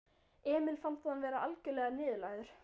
Emil fannst hann vera algjörlega niðurlægður.